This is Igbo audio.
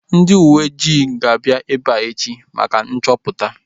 Ndị uweojii ga-abịa ebea echi maka nchọpụta